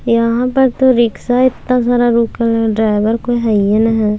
यहां पर तो रिक्शा इतना सारा रुकल हेय ड्राइवर कोय हईये ने हय।